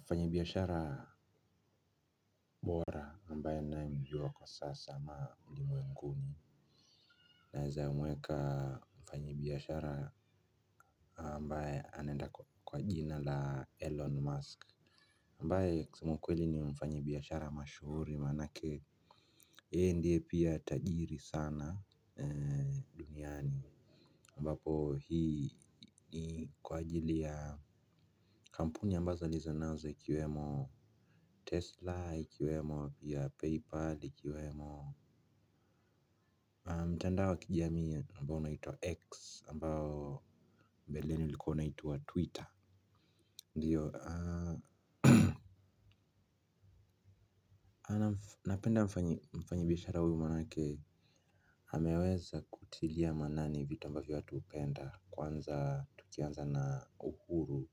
Mfanyi biashara bora ambae ninae mjua kwa sasa ama ulimwenguni naeza mweka mfanyi biashara ambae anaenda kwa jina la elon musk ambae kusema ukweli ni mfanyibiashara mashuhuri manake yeye ndiye pia tajiri sana duniani ambapo hii ni kwa ajili ya kampuni ambazo alizo nazo ikiwemo Tesla ikiwemo pia PayPal ikiwemo mtandao wa kijamii ambao unaitwa X ambao mbeleni ulikuwa unaitwa Twitter. Ndiyo napenda mfanyibiashara huyu manake ameweza kutilia maanani vitu ambazo watu hupenda kwanza tukianza na uhuru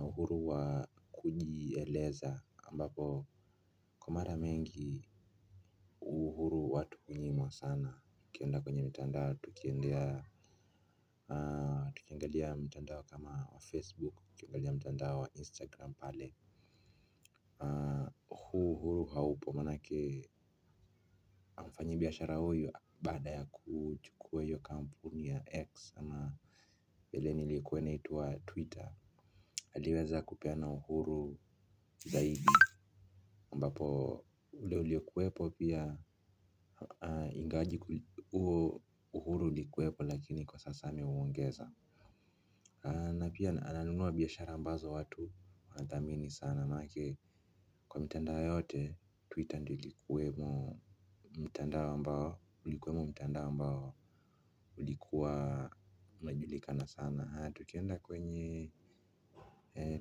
uhuru wa kujieleza ambapo kwa mara mengi uhuru watu hunyimwa sana tukienda kwenye mitandao tukiendea tukiangalia mtandao kama wa facebook, tukiangalia mtandao wa instagram pale. Huu uhuru haupo manake mfanyi biashara huyu baada ya kuchukua hiyo kampuni ya x ama mbeleni ilikuwe inaitwa twitter aliweza kupeana uhuru zaidi ambapo ule ulio kuwepo pia. Ingawaje huo uhuru ulikuwepo lakini kwa sasa ameuongeza na pia ananunua biashara ambazo watu wanadhamini sana manake kwa mitandao yote twitter ndiyo ilikuwemo mtandao ambao ulikuwa unajulikana sana. Haya tukienda kwenye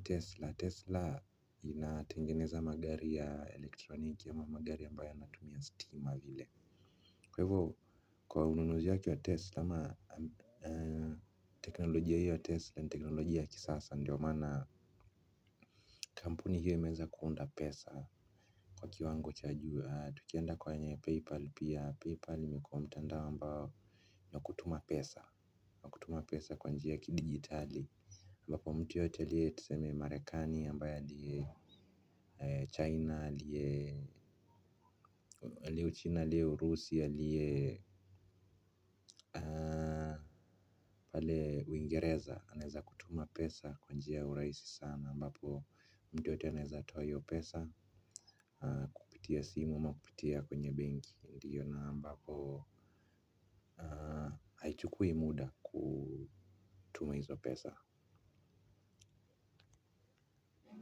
tesla tesla inatengeneza magari ya elektroniki ama magari ambayo ya natumia stima vile. Kwa hivo kwa ununuzi yake ya tesla ama teknolojia hiyo ya tesla ni teknolojia ya kisasa ndo maana kampuni hiyo imeweza kuunda pesa. Kwa kiwango cha juu tukienda kwenye paypal pia paypal imekuwa mtandao ambao wa kutuma pesa wa kutuma pesa kwa njia ya kidigitali ambapo mtu yoyote aliye tuseme marekani ambaya aliye China aliye uchina alie urusi alie pale uingereza anaeza kutuma pesa kwa njia ya urahisi sana ambapo mtu yoyote anaeza toa hiyo pesa kupitia simu ama kupitia kwenye benki ndiyo na ambako haichukui muda kutuma hizo pesa.